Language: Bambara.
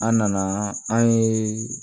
An nana an ye